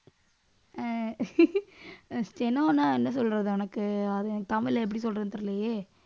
அஹ் steno ன்ன என்ன சொல்றது உனக்கு அது எனக்கு தமிழ்ல எப்படி சொல்றதுன்னு தெரியலயே.